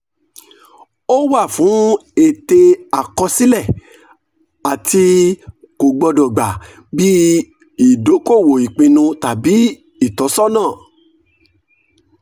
ó wà fún ète àkọsílẹ̀ àti kò gbọ́dọ̀ gba bí ìdókòwò ìpinnu tàbí ìtọ́sọ́nà.